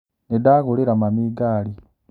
Nĩndagũrĩra mami ngari